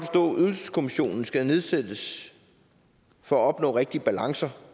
ydelseskommissionen skal nedsættes for at opnå de rigtige balancer